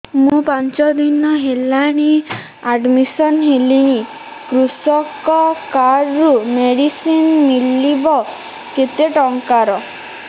ମୁ ପାଞ୍ଚ ଦିନ ହେଲାଣି ଆଡ୍ମିଶନ ହେଲିଣି କୃଷକ କାର୍ଡ ରୁ ମେଡିସିନ ମିଳିବ କେତେ ଟଙ୍କାର